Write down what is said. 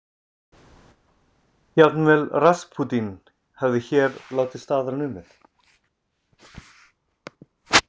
Jafnvel Raspútín hefði hér látið staðar numið.